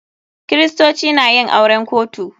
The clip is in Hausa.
Kiristoci na yin auren kotu.